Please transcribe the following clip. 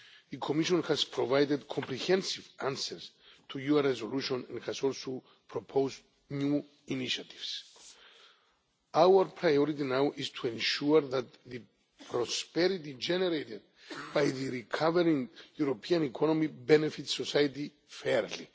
The Commission has provided comprehensive answers to your resolution and has also proposed new initiatives. Our priority now is to ensure that the prosperity generated by the recovering European economy benefits society fairly.